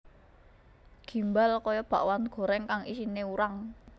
Gimbal kaya bakwan goreng kang isine urang